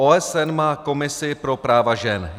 OSN má komisi pro práva žen.